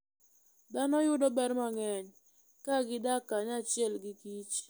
Dhano yudo ber mang'eny ka gidak kanyachiel gi kich.